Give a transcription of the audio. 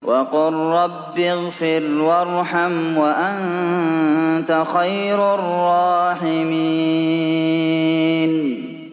وَقُل رَّبِّ اغْفِرْ وَارْحَمْ وَأَنتَ خَيْرُ الرَّاحِمِينَ